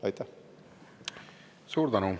Suur tänu!